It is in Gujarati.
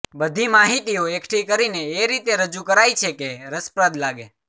બધી માહિતીઓ એકઠી કરીને એ રીતે રજૂ કરાઈ છે કે રસપ્રદ લાગે